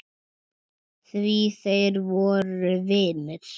Því þeir voru vinir.